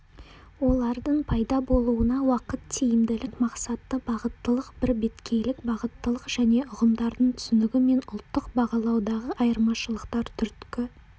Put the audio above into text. олардың пайда болуына уақыт тиімділік мақсатты бағыттылық бірбеткейлік бағыттылық және ұғымдардың түсінігі мен ұлттық бағалаудағы айырмашылықтар түрткі